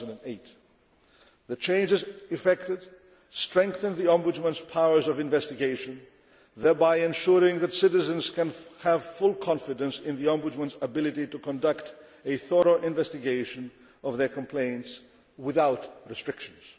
in 2008. The changes effected strengthen the Ombudsman's powers of investigation, thereby ensuring that citizens can have full confidence in the Ombudsman's ability to conduct a thorough investigation of their complaints without restrictions.